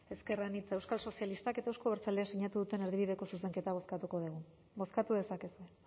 ezker anitza euskal sozialistak eta euzko abertzaleek sinatu duten erdibideko zuzenketa bozkatuko dugu bozkatu dezakezue